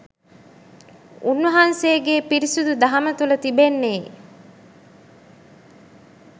උන්වහන්සේගේ පිරිසිදු දහම තුළ තිබෙන්නේ